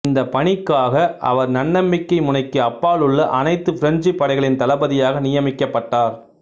இந்த பணிக்காக இவர் நன்னம்பிக்கை முனைக்கு அப்பாலுள்ள அனைத்து பிரெஞ்சு படைகளின் தளபதியாக நியமிக்கப்பட்டார்